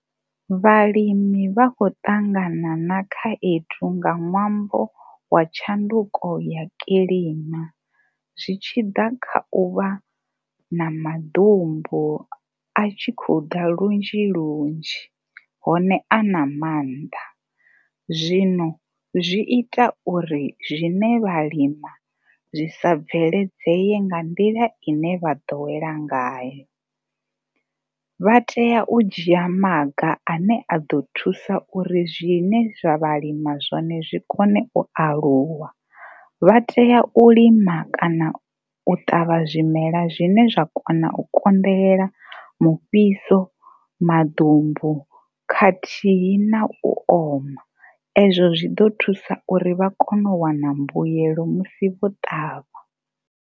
Vhalimi vha khou ṱangana na khaedu nga ṅwambo wa tshanduko ya kilima, zwi tshi ḓa kha u vha na maḓumbu a tshi khou ḓa lunzhi lunzhi hone a na maanḓa. Zwino zwi ita uri zwine vha lima zwi sa bveledzee nga nḓila i ne vha ḓowela ngayo. Vha tea u dzhia maga ane a ḓo thusa uri zwine vha lima zwone zwi kone u aluwa. Vha tea u lima kana u ṱavha zwimela zwine zwa kona u konḓelela mufhiso, maḓumbu khathihi na u oma. Ezwo zwi ḓo thusa uri vha kone u wana mbuelo musi vho ṱavha.